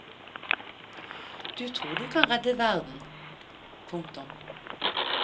Du tror du kan redde verden. punktum